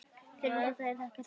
Fyrir það er nú þakkað.